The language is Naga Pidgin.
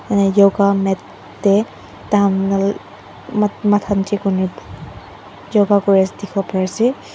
Ane yoga mate te tahan la ma mathan niche kurine yoga korise dikhiwo parise.